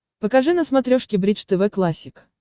покажи на смотрешке бридж тв классик